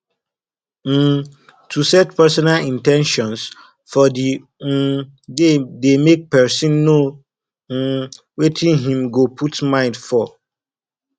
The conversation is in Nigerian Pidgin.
um to set personal in ten tions for di um day de make persin know um wetin im go put mind for